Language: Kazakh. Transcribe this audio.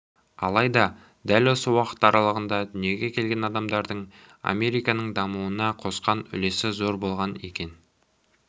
алайда дәл осы уақыт аралығында дүниеге келген адамдардың американың дамуына қосқан үлесі зор болған екен